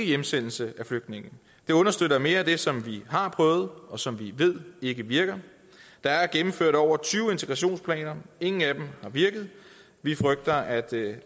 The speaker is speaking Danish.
hjemsendelse af flygtningene det understøtter mere det som vi har prøvet og som vi ved ikke virker der er gennemført over tyve integrationsplaner og ingen af dem har virket vi frygter at det